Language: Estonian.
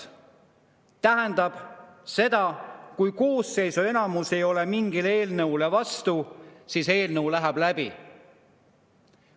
See tähendab seda, et kui koosseisu enamus ei ole mingile eelnõule vastu, siis eelnõu läheb läbi.